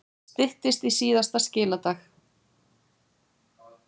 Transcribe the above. Styttist í síðasta skiladag